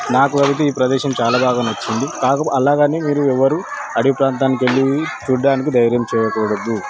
నాకు అయితే ఈ ప్రదేశం చాలా బాగా నచ్చింది కాకపోతే అలగని మీరు ఎవరు అడివి ప్రాంతానికి వెళ్లి చూడ్డానికి ధైర్యం చేయకూడదు.